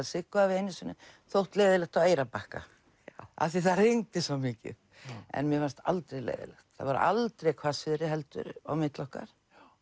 Siggu hafi einu sinni þótt leiðinlegt á Eyrarbakka af því það rigndi svo mikið en mér fannst aldrei leiðinlegt það var aldrei hvassviðri heldur á milli okkar